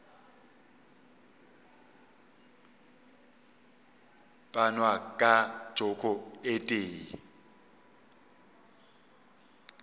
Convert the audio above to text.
panwa ka joko e tee